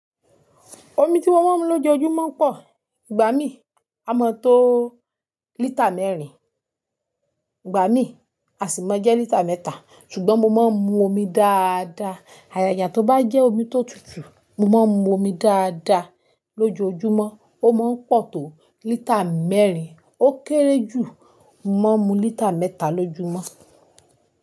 Omi tí mo máa ń mu lójoojúmọ́ pọ̀. Ìgbà mí, a máa tó lítà mẹ́rin, ìgbà mí, a sì máa jẹ́ lítà mẹ́ta. Ṣùgbọ́n mo máa ń mu omi dáadáa. Ajaja tó bá jẹ́ omi tó tutù, mo máa ń mu omi dáadáa lójoojúmọ́. Ó máa ń pọ̀ tó lítà mẹ́rin, ó kéré jù, mo máa mu lítà mẹ́ta lójúmọ́.